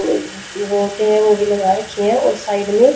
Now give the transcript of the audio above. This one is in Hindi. मूर्ति है वो भी लगा रखी है और साइड में--